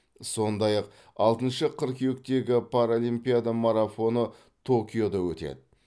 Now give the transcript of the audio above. сондай ақ алтыншы қыркүйектегі паралимпиада марафоны токиода өтеді